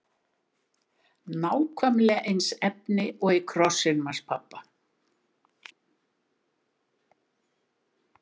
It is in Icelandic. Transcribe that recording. Nákvæmlega eins efni og í krossinum hans pabba!